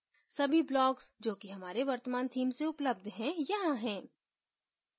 सभी blocks जो कि हमारे वर्तमान theme से उपलब्ध है यहाँ है